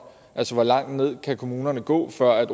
altså hvor langt ned kan kommunerne gå før